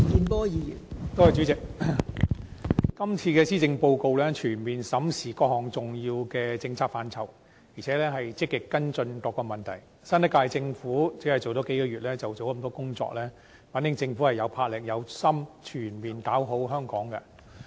代理主席，這份施政報告全面審視各項重要的政策範疇，並且積極跟進各項問題，新一屆政府就任只有數個月，就做了這麼多工作，反映政府有魄力、有心全面搞好香港。